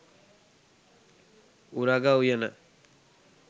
උරග උයන.